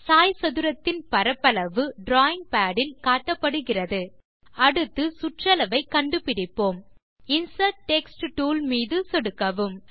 சாய்சதுரத்தின் பரப்பளவு drawing pad இல் இங்கே காட்டப்படுகிறது அடுத்து சுற்றளவை கண்டு பிடிப்போம் இன்சர்ட் டெக்ஸ்ட் டூல் மீது சொடுக்கவும்